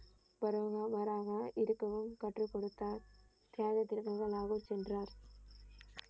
வருமோ வராதோ இருக்கவும் கற்றுக் கொடுத்தார் தியாகத்திற்கு முதல் அவர் சென்றாரர்